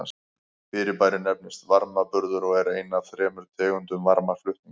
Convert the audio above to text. Fyrirbærið nefnist varmaburður og er ein af þremur tegundum varmaflutnings.